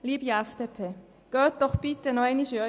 Liebe FDP, gehen Sie doch noch einmal in sich.